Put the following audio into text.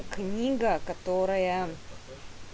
книга которая